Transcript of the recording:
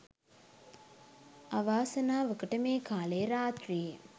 අවාසනාවකට මේ කාලේ රාත්‍රියේ